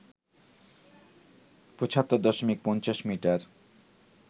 ৭৫ দশমিক ৫০ মিটার